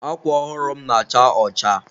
Akwa ọhụrụ m na-acha ọcha..